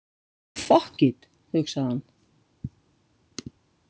Fokkit, hugsaði hann.